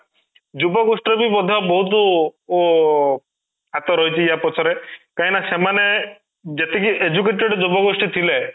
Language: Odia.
ଯୁବ ଗୋଷ୍ଠୀ ରେ ବି ମଧ୍ୟ ବହୁତ ଅଂ ହାତ ରହିଛି ୟା ପଛରେ କାଇଁ ନା ସେମାନେ ଯେତିକି educated ଯୁବ ଗୋଷ୍ଠୀ ଥିଲେ